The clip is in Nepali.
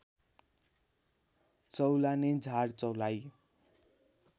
चौलाने झार चौलाइ